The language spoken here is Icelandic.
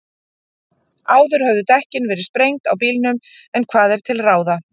Áður höfðu dekkin verið sprengt á bílnum, en hvað er til ráða?